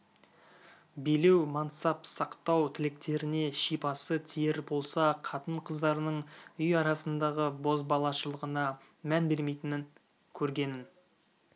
билеу мансап сақтау тілектеріне шипасы тиер болса қатын қыздарының үй арасындағы бозбалашылығына мән бермейтін көргенін